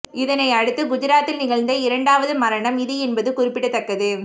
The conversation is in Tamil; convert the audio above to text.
இதனை அடுத்து குஜராத்தில் நிகழ்ந்த இரண்டாவது மரணம் இது என்பது குறிப்பிடத்தக்கது